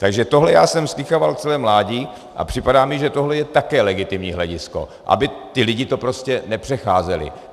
Takže tohle já jsem slýchával celé mládí a připadá mi, že tohle je také legitimní hledisko, aby ti lidé to prostě nepřecházeli.